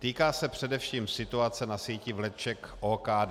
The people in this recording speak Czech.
Týká se především situace na síti vleček OKD.